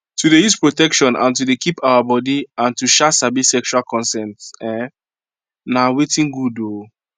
to dey use protection and and to dey keep our body and to um sabi sexual consent um na watin good um